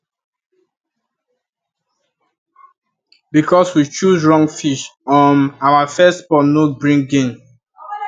because we choose wrong fish um our first pond no bring gain